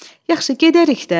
Yaxşı, gedərik də.